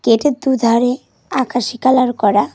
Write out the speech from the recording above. গেটের দুধারে আকাশী কালার করা।